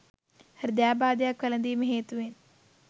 හෘදයාබාධයක් වැලදීම හේතුවෙන්